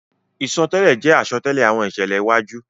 Isọtẹlẹ jẹ asọtẹlẹ awọn iṣẹlẹ iwaju.